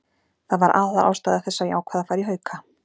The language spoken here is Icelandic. Það var aðalástæða þess að ég ákvað að fara í Hauka.